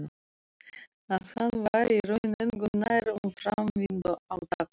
Að hann væri í raun engu nær um framvindu átakanna.